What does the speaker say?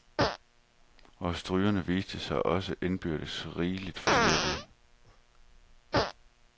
Og strygerne viste sig også indbyrdes rigeligt forskellige.